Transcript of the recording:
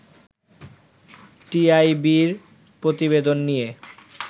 টিআইবি’র প্রতিবেদন নিয়ে